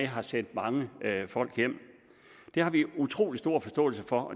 har sendt mange folk hjem det har vi utrolig stor forståelse for